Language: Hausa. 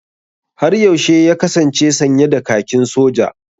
Har yaushe ya kasance sanye da kakin Soja?